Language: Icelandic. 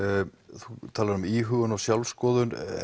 þú talar um íhugun og sjálfsskoðun